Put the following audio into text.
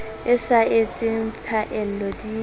e sa etseng phaello di